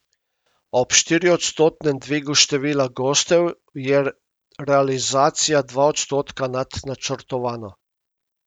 Ob štiriodstotnem dvigu števila gostov je realizacija dva odstotka nad načrtovano.